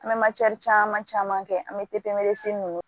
An bɛ caman caman kɛ an bɛ